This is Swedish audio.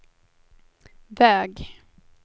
väg